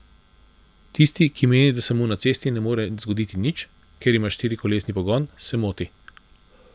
Tisti, ki meni, da se mu na cesti ne more zgoditi nič, ker ima štirikolesni pogon, se moti.